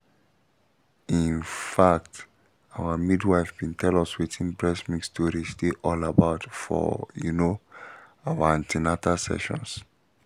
in um fact our midwife been tell us wetin breast milk storage dey all about for um you know our an ten atal sessions